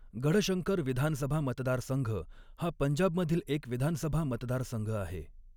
गढशंकर विधानसभा मतदारसंघ हा पंजाबमधील एक विधानसभा मतदारसंघ आहे.